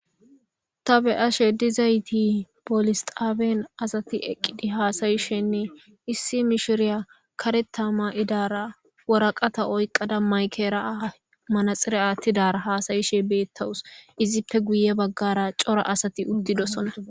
ta be7ashe dizayti bolisxaaben asati eqqidi haasayishenne issi mishiriya kareta ma7idara woraqata oyqqada maykeraa manaxire aattidara haasayishe beettawus izippe guye baggara cora asati uttidosona